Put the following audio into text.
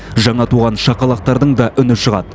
жаңа туған шақалақтардың да үні шығады